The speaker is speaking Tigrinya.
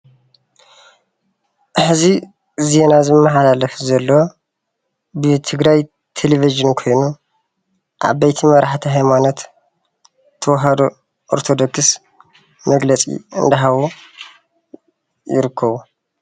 ሐዚ ዜና ዝመሓላለፍ ዘሎ ብትግራይ ቴሌቭዥን ኾይኑ፣ ዓቦይቲ መራሕቲ ሃይማኖት ተዋህድ ኦርቶዶክስ መግለፂ እናሃቡ ይርከቡ።